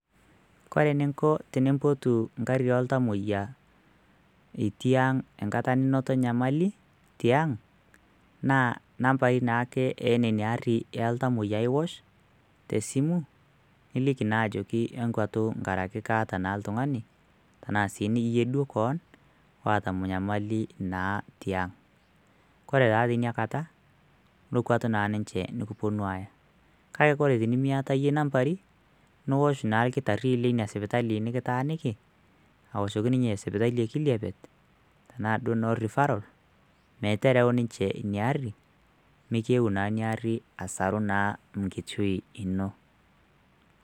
kore eninko tenimpotu ngarri oltamoyia itii ang nkata ninoto nyamali tiang naa nambai naake ene niarri eltamoyia iwosh tesimu niliki naa ajoki enkwatu nkaraki kaata naa iltung'ani tanaa sii niyie duo koon waata nyamali naa tiang kore taa tiniakata nokwuatu naa ninche nikiponu aaya kake kore tenimiata iyie inambari niwosh naa irkitarri lina sipitali nikitaaniki awoshoki ninye sipitali ekiliapet tenaa suo ino refferal metereu ninche inia arrimikiyeu naa ina arri asaru naa nkishui ino.